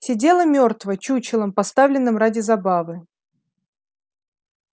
сидела мёртво чучелом поставленным ради забавы